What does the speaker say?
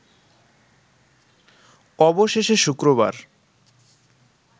অবশেষে শুক্রবার